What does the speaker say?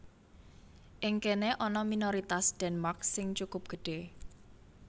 Ing kéné ana minoritas Denmark sing cukup gedhé